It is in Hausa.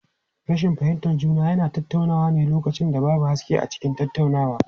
Rashin fahimtar juna yana tasowa ne lokacin da babu haske a cikin tattaunawa.